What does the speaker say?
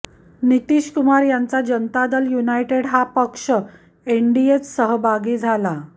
नितीशकुमार यांचा जनता दल युनायडेट हा पक्ष एनडीएत सहभागी झाला